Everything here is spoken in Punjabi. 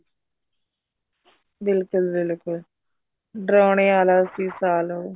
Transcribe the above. ਬਿਲਕੁਲ ਬਿਲਕੁਲ ਡਰਾਉਣੇ ਵਾਲਾ ਸੀ ਸਾਲ ਉਹ